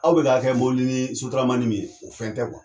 Aw bɛ k'a kɛ ni sotaramanin min ye o fɛn tɛ .